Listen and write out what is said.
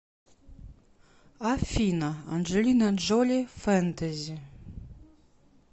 афина анджелина джоли фэнтези